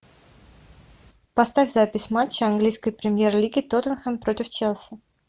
поставь запись матча английской премьер лиги тоттенхэм против челси